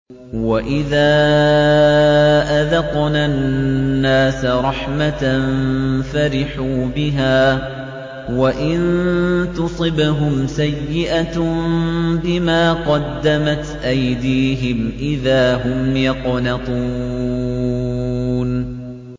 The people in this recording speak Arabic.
وَإِذَا أَذَقْنَا النَّاسَ رَحْمَةً فَرِحُوا بِهَا ۖ وَإِن تُصِبْهُمْ سَيِّئَةٌ بِمَا قَدَّمَتْ أَيْدِيهِمْ إِذَا هُمْ يَقْنَطُونَ